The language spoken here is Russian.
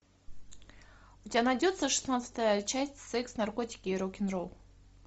у тебя найдется шестнадцатая часть секс наркотики и рок н ролл